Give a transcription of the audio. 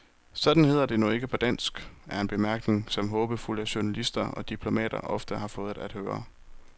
Sådan hedder det nu ikke på dansk, er en bemærkning, som håbefulde journalister og diplomater ofte har fået at høre.